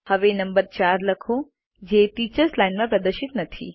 હવે નંબર 4 લખો જેTeachers લાઇન માં પ્રદર્શિત નથી